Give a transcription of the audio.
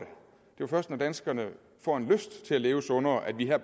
jo først når danskerne får lyst til at leve sundere at vi her